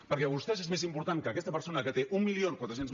perquè per a vostès és més important que aquesta persona que té mil quatre cents